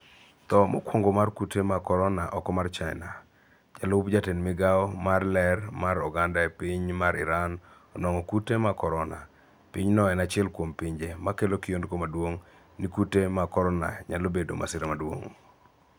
Tho mokwongo mar kute mag korona oko mar China. Jalup jatend migao mar ler mar oganda piny mar Iran onwang' kute mag korona. Pinyno en achiel kuom pinje makelo kiondko maduong' ni kute mag korona nyalo bedo masira maduong'.